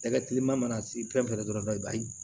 Tɛgɛ kiliman mana se fɛn fɛn dɔrɔn b'a